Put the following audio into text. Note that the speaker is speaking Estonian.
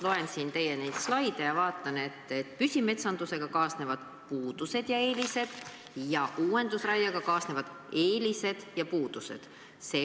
Loen siin teie slaide ja vaatan, et püsimetsandusega kaasnevad puudused ja eelised ning uuendusraiega kaasnevad eelised ja puudused.